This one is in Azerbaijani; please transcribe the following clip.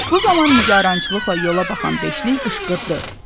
Bu zaman nigarançılıqla yola baxan beşlik qışqırdı.